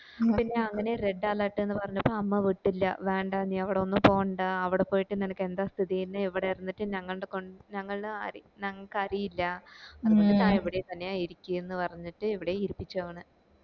പിന്നെ അങ്ങനെ red alert ന്ന് പറഞ്ഞപ്പോ അമ്മ വിട്ടില്ല വേണ്ട നീ അവിടൊന്നു പോണ്ട അവ്ടെ പോയിട്ട് നിനക്കു എന്താ സ്ഥിതി ന്നു ഇവിടെ ഇരുന്നിട്ട് ഞങ്ങൾടെ കൊൻ ഞങ്ങൾടെ ആരി ഞങ്ങള്ക് അറിയില്ല ഇവിടെ തന്നെ ഇരിക്ക് പറഞ്ഞിട് ഇരുത്തിച്ചു അവനെ